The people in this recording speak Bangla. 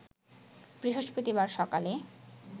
বৃহস্পতিবার সকালে